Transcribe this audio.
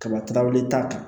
Kaba le t'a kan